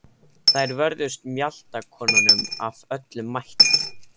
Þær vörðust mjaltakonunum af öllum mætti.